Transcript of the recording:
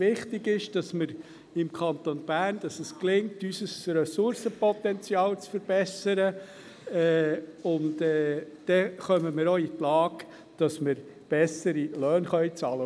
Wichtig ist, dass es uns im Kanton Bern gelingt, unser Ressourcenpotenzial zu verbessern, und dann kommen wir auch in die Lage, bessere Löhne bezahlen zu können.